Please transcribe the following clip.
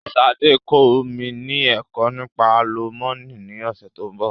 Sade máa kọ́ mi ni ẹ̀kọ́ nípa àlùmọ́nì ni ọ̀sẹ̀ tó ń bọ̀